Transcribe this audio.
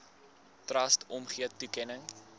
trust omgee toekenning